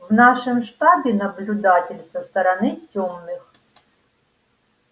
в нашем штабе наблюдатель со стороны тёмных